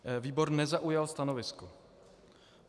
Výbor nezaujal stanovisko.